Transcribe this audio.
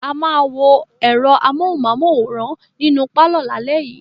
A máa wo ẹ̀rọ amóhùmáwòhán nínú pálọ̀ lálẹ́ yìí.